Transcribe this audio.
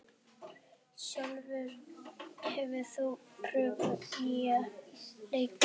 Sólúlfur, hefur þú prófað nýja leikinn?